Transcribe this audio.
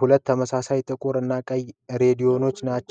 ሁለት ተመሳሳይ ጥቁር እና ቀይ ሬዲዮዎች ቻናል